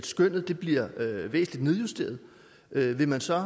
skønnet bliver væsentlig nedjusteret vil man så